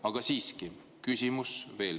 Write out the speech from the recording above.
Aga veel kord küsimus.